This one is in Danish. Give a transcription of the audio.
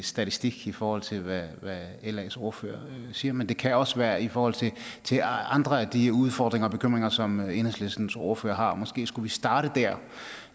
statistik i forhold til hvad las ordfører siger men det kan også være i forhold til andre af de udfordringer og bekymringer som enhedslistens ordfører har og måske skulle vi starte dér